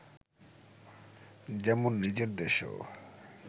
যেমন নিজের দেশেও